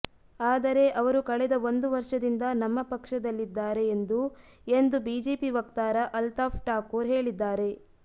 ಆದರೆ ಅವರು ಕಳೆದ ಒಂದು ವರ್ಷದಿಂದ ನಮ್ಮ ಪಕ್ಷದಲ್ಲಿದ್ದಾರೆ ಎಂದು ಎಂದು ಬಿಜೆಪಿ ವಕ್ತಾರ ಅಲ್ತಾಫ್ ಠಾಕೂರ್ ಹೇಳಿದ್ದಾರೆ